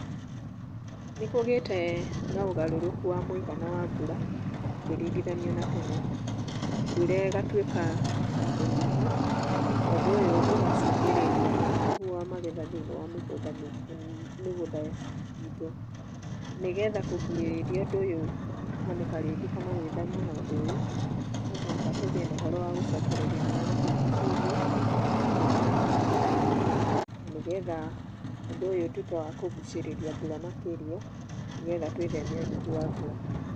Nĩkũgĩte na ũgarũrũku wa mũigana wa mbura ũkĩringithanio na tene, mbura ĩgatuĩka ya kũnyiha na ũndũ ũyũ ũgacũngĩrĩria ũnyihu ma magetha thĩinĩ wa mĩgũnda, mĩgũnda itũ. Nĩgetha kũgirĩrĩria undũ ũyũ kũhanĩka rĩngĩ kana gwĩthema na ũndũ ũyũ no mũhaka tũgĩe na ũhoro wa gũcokereria marĩa matũrigĩcĩirie na njĩra ya kũhanda mĩtĩ na nĩgetha ũndũ ũyũ ũtũĩke wa kũgũcĩrĩria mbura makĩria nĩgetha twĩtheme ũnyihu wa mbura.